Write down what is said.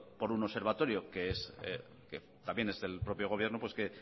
por un observatorio que también es del propio gobierno que